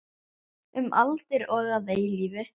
Um aldir og að eilífu.